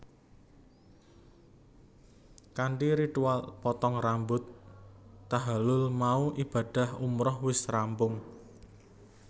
Kanthi ritual potong rambut tahalul mau ibadah umrah wis rampung